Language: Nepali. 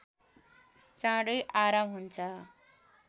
चाँडै आराम हुन्छ